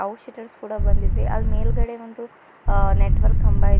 ಕೂಡ ಬಂದಿದೆ ಅಲ್ ಮೇಲ್ಗಡೆ ಒಂದು ನೆಟ್ವರ್ಕ್ ಕಂಬ ಇದೆ.